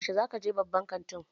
Yaushe za ka je babban kantin?